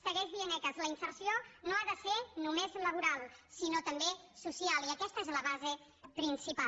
segueix dient ecas la inserció no ha de ser només laboral sinó també social i aquesta és la base principal